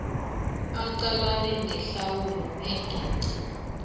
aqalane nehlawulo engeqi